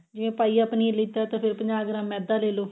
ਜੇ ਪਾਈਆ ਪਨੀਰ ਲੀਤਾ ਤਾਂ ਫ਼ੇਰ ਪੰਜਾਹ ਗ੍ਰਾਮ ਮੈਦਾ ਲੈਲੋ